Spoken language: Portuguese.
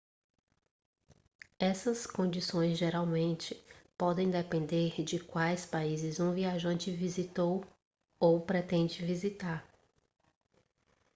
essas condições geralmente podem depender de quais países um viajante visitou ou pretende visitar